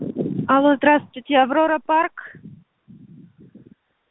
алло здравствуйте аврора парк